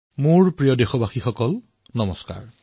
মোৰ মৰমৰ দেশবাসীসকল নমস্কাৰ